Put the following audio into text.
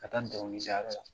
Ka taa ni don misalila